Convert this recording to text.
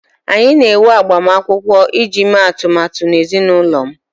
anyị na-enwe agbamakwụkwọ iji mee atụmatụ na ezinụlọ m